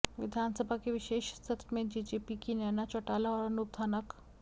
विधानसभा के विशेष सत्र में जेजेपी की नैना चौटाला और अनूप धानक